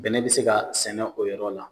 Bɛnɛ bɛ se ka sɛnɛ o yɔrɔ la